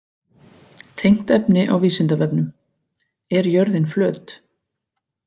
Tengt efni á Vísindavefnum: Er jörðin flöt?